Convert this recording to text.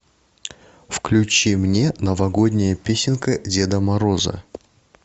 включи мне новогодняя песенка деда мороза